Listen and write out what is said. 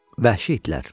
Vəhşi idlər.